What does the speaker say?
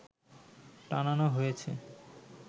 টানানো হয়েছে